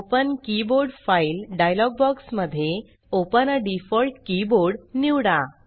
open keyboard file dialog box मध्ये open आ default keyboard निवडा